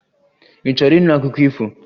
Ị chọrọ ịnụ akụkọ ifo?